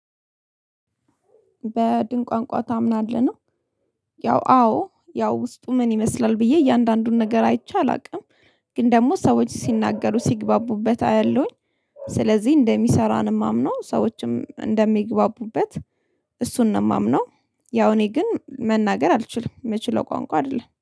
"በድን ቋንቋ ታምናለህ?" ነው። ያው አዎ ያው ውስጡ ምን ይመስላል ብዬ እያንዳንዱን ነገር አይቼ አላውቅም። ግን ደግሞ ሰዎች ሲናገሩ ሲግባቡበት አያለሁኝ። ስለዚህ እንደሚሰራ ነው የማምነው፤ ሰዎችም እንደሚግባቡበት እሱን ነው የማምነው። ያው እኔ ግን መናገር አልችልም፤ የምችለው ቋንቋ አይደለም።